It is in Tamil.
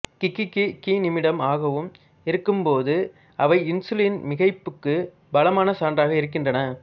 கிகி கிநிமிடம் ஆகவும் இருக்கும்போது அவை இன்சுலின் மிகைப்புக்கு பலமான சான்றாக இருக்கின்றன